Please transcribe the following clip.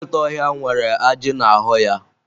Nkịta ọhịa nwere ajị n'ahụ ya.